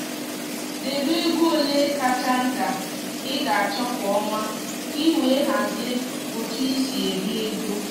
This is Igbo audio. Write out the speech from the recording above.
debe ego ole kacha nta ị ga-achọ kwa ọnwa ka i wee hazie otu i si eri ego